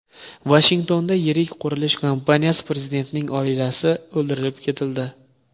Vashingtonda yirik qurilish kompaniyasi prezidentining oilasi o‘ldirib ketildi.